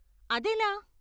అదెలా?